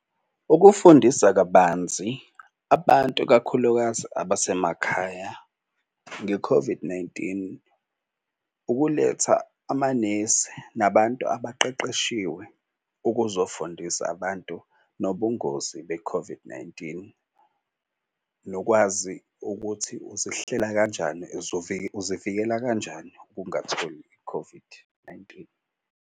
Ukufundisa kabanzi abantu ikakhulukazi abasemakhaya nge-COVID-19. Ukuletha amanesi nabantu abaqeqeshiwe ukuzofundisa abantu nobungozi be-COVID-19. Nokwazi ukuthi uzihlela kanjani uzivikela kanjani ukungatholi i-COVID-19.